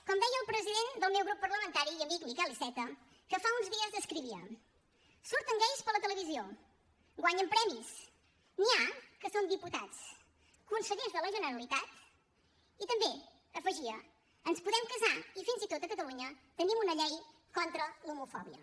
com deia el president del meu grup parlamentari i amic miquel iceta que fa uns dies escrivia surten gais per la televisió guanyen premis n’hi ha que són diputats consellers de la generalitat i també hi afegia ens podem casar i fins i tot a catalunya tenim una llei contra l’homofòbia